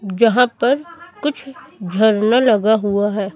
जहां पर कुछ झरना लगा हुआ है।